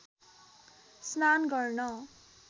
स्नान गर्न